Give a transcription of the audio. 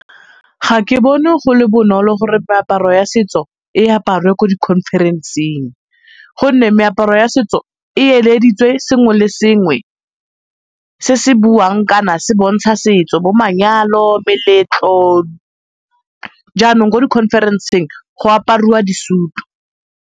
Ga ke bone go le bonolo gore meaparo ya setso e aparwe ko di-conference-eng go nne meaparo ya setso e eleditswe sengwe le sengwe se se buang kana se bontsha setso bo manyalo, meletlo. Jaanong ko di-conference-eng go apariwa di-suit-u.